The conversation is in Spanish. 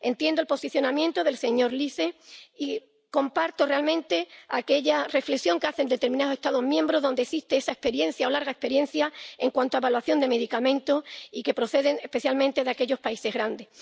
Entiendo el posicionamiento del señor Liese y comparto realmente aquella reflexión que hacen determinados Estados miembros, en los que existe esa experiencia —o larga experiencia— en cuanto a evaluación de medicamentos y que procede especialmente de aquellos países grandes.